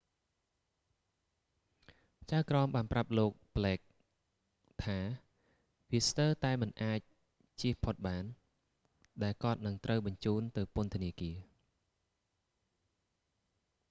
ចៅក្រមបានប្រាប់លោក ប្លេក blake ថាវា ស្ទើរតែមិនអាចជៀសផុតបាន ដែលគាត់នឹងត្រូវបញ្ជូនទៅពន្ធនាគារ